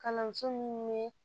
Kalanso minnu ye